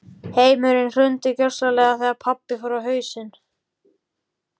Heimurinn hrundi gjörsamlega þegar pabbi fór á hausinn.